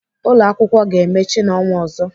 Ụlọakwụkwọ ga-emechi n'ọnwa ọzọ.